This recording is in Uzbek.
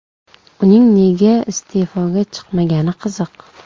Uning nega iste’foga chiqmagani qiziq.